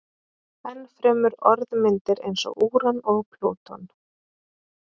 Enn fremur orðmyndir eins og úran og plúton.